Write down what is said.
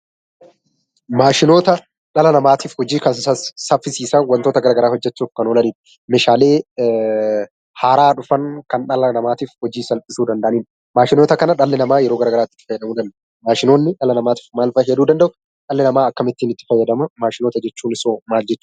Maashinoota dhala namaatiif hojii kan saffisiisan waantota garaagaraa hojjechuuf kan oolan , Meeshaalee haaraa dhufan kan dhala namaatiif hojii salphisuu danda'anidha Maashinoota kana dhalli namaa yeroo garaagaraatti fayyadamuudhaan maashinoonni dhala namaa maal fa'aa fayyaduu danda'u? dhalli namaa akkamittiin itti fayyadama? Maashinoota jechuun hoo maal jechuudha?